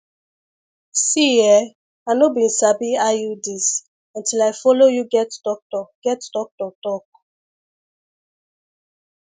see eh i no bin sabi iuds until i follow you get doctor get doctor talk